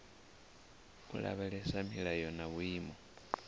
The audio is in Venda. u lavhelesa milayo na vhuimo